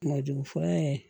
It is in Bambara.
Kungolo jugu fura in